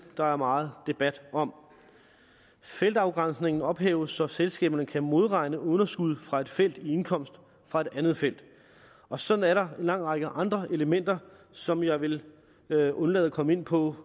der er meget debat om feltafgrænsningen ophæves så selskaberne kan modregne underskud fra et felt i indkomst fra et andet felt og sådan er der en lang række andre elementer som jeg vil vil undlade at komme ind på